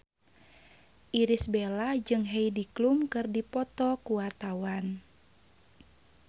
Irish Bella jeung Heidi Klum keur dipoto ku wartawan